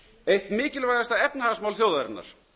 eitt mikilvægasta efnahagsmál þjóðarinnar